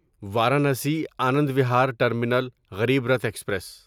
Varanasi Anand Vihar terminal Garib Rath express